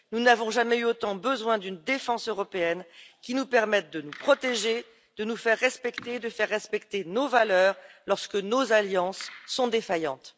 Nous n'avons jamais eu autant besoin d'une défense européenne qui nous permette de nous protéger, de nous faire respecter et de faire respecter nos valeurs lorsque nos alliances sont défaillantes.